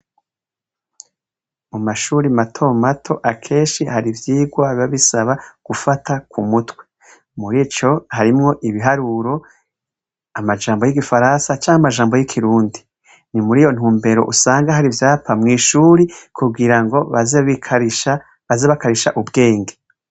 Mumashure matomato, akenshi har'ivyigwa biba bisaba gufata k'umutwe. Mur' ivyo harimw' ibiharuro , amajambo y igifaransa canke amajambo y' ikirundi. Ni mur' iyo ntumber' usanga har' ivyapa mw ishuri kugira ngo baze bakarish' ubwenge.